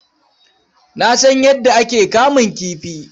Na san yadda ake kamun kifi.